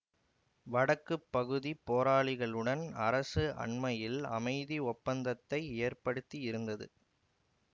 வடக்கு பகுதி போராளிகளுடன் அரசு அண்மையில் அமைதி ஒப்பந்தத்தை ஏற்படுத்தியிருந்தது